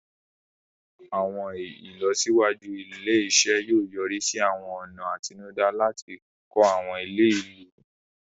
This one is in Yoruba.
Àwọn ìlọsíwájú ilé-iṣẹ́ yóò yọrí sí àwọn ọ̀nà àtinúdá láti kọ́ àwọn ilé ìlú.